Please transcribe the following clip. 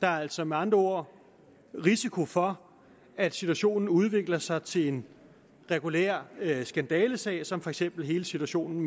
der er altså med andre ord risiko for at situationen udvikler sig til en regulær skandalesag som for eksempel hele situationen